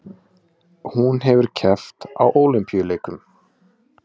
Hún hefur keppt á Ólympíuleikum